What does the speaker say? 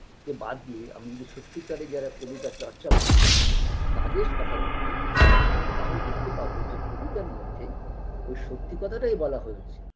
কে বাদ দিয়ে আমি যদি সত্যি কারের যারা কবিতার চর্চা করে তাদের কথা বলি তাহলে দেখতে পাবো যে কবিতার মধ্যে ওই সত্যি কথাটাই বলা হয়েছে